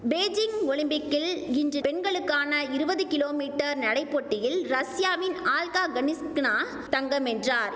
Beijing ஒலிம்பிக்கில் இன்று பெண்களுக்கான இருவது கிலோமீட்டர் நடை போட்டியில் ரஷ்யாவின் ஆல்கா கனிஸ்கினா தங்கம் வென்றார்